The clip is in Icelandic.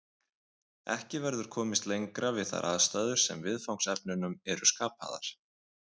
Ekki verður komist lengra við þær aðstæður sem viðfangsefnunum eru skapaðar.